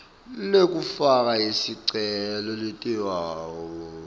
lekufaka sicelo litawuba